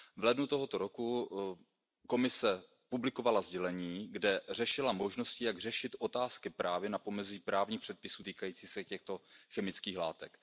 V lednu tohoto roku Komise publikovala sdělení, kde řešila možnosti, jak řešit otázky právě na pomezí právních předpisů týkajících se těchto chemických látek.